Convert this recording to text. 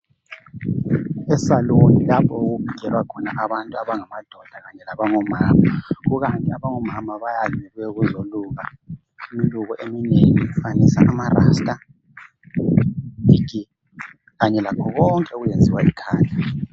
e salon lapho okugelwa khona abantu abangamadoda kanye labangomama ikanti abango mama bayandise bezoluka imiluko eminengi amarasta lakho konke okwenziwa ekhanda